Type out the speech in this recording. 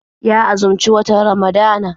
Ya azumci watan Ramadana.